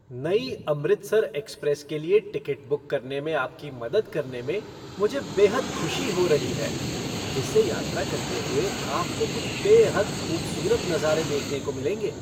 नई 'अमृतसर एक्सप्रेस' के लिए टिकट बुक करने में आपकी मदद करने में मुझे बेहद खुशी हो रही है, जिससे यात्रा करते हुए आपको कुछ बेहद खूबसूरत नज़ारे देखने को मिलेंगे।